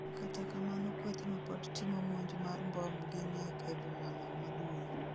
kata kamano kwethno pod timo monj mar mbom gi nek e boma no maduong'